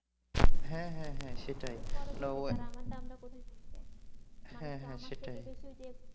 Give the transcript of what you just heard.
হ্যাঁ হ্যাঁ সেটাই মানে